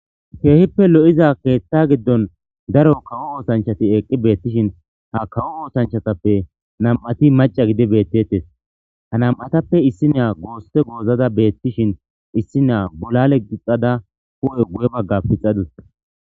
keehippe lo7iza keetta giddon daro kawo oosanchati eqqi beettishin ha kawo oosanchatappe nam7ati maca gidi beettettes ha nam7atappe issi nea goosse goozada beettishin issi naa bolale gixada ku7e guye bagga pixadis